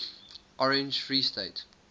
orange free state